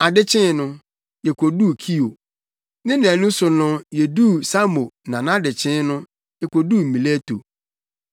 Ade kyee no, yekoduu Kio. Ne nnaanu so no yeduu Samo na nʼadekyee no, yekoduu Mileto.